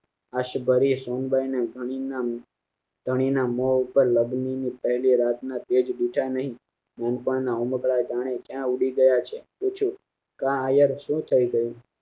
આ સબારી સોનબાઇ ધન ના અહીંના મોં ઉપર લગ્ન ની પહેલી રાત ના તેજ બીજા નહિ મમતા ના ઓઢાકણા જાણે કયા ઉંધી ગયા છે પૂછું કે અવર શું થય ગયું